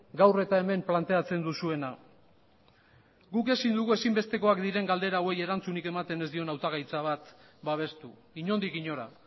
gaur eta hemen planteatzen duzuena guk ezin dugu ezinbestekoak diren galdera hauei erantzunik ematen ez dion hautagaitza bat babestu inondik inora